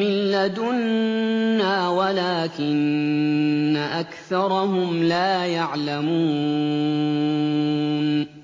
مِّن لَّدُنَّا وَلَٰكِنَّ أَكْثَرَهُمْ لَا يَعْلَمُونَ